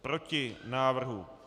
Proti návrhu.